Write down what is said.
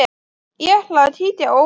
Ég ætla að kíkja á Óla og